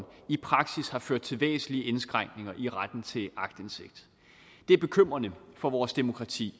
i praksis har ført til væsentlige indskrænkninger i retten til aktindsigt det er bekymrende for vores demokrati